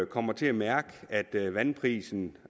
kommer til at mærke at vandprisen